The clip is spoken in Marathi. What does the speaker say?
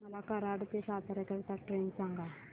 मला कराड ते सातारा करीता ट्रेन सांगा